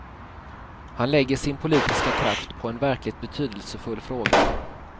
Han lägger sin politiska kraft på en verkligt betydelsefull fråga.